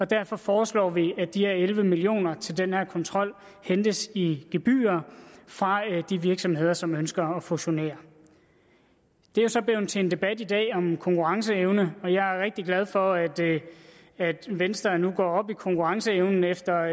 derfor foreslår vi at de her elleve million kroner til den her kontrol hentes i form af gebyrer fra de virksomheder som ønsker at fusionere det er så blevet til en debat i dag om konkurrenceevne og jeg er rigtig glad for at at venstre nu går op i konkurrenceevnen efter